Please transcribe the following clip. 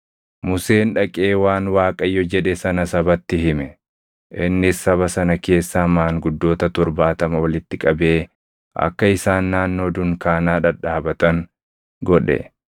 Museen dhaqee waan Waaqayyo jedhe sana sabatti hime. Innis saba sana keessaa maanguddoota torbaatama walitti qabee akka isaan naannoo dunkaanaa dhadhaabatan godhe.